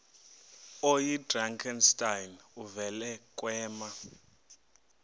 oyidrakenstein uvele kwema